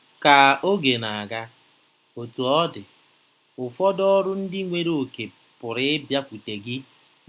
Ka oge na-aga, Otú ọ dị, ụfọdụ ọrụ ndị nwere oke pụrụ ịbịakwute gị.